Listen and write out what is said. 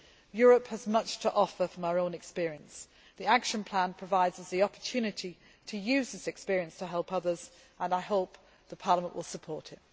Europe has much to offer from our own experience. The action plan provides us with the opportunity to use this experience to help others, and I hope Parliament will support it.